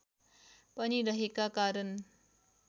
पनि रहेका कारण